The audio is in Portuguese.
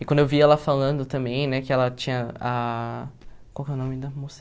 E quando eu vi ela falando também, né, que ela tinha a... Qual que é o nome da moça?